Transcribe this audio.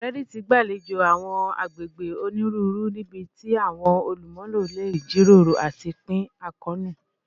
Reddit gbalejo awọn agbegbe oniruuru nibiti awọn olumulo le jiroro ati pin akoonu